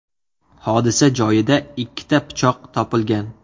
Hodisa joyida ikkita pichoq topilgan.